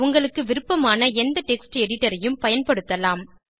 உங்களுக்கு விருப்பமான எந்த டெக்ஸ்ட் editorஐயும் பயன்படுத்தலாம்